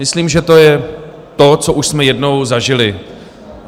Myslím, že to je to, co už jsme jednou zažili.